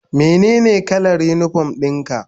Menene kalar unipom ɗin ka?